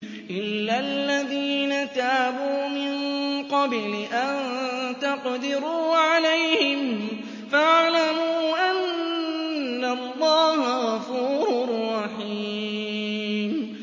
إِلَّا الَّذِينَ تَابُوا مِن قَبْلِ أَن تَقْدِرُوا عَلَيْهِمْ ۖ فَاعْلَمُوا أَنَّ اللَّهَ غَفُورٌ رَّحِيمٌ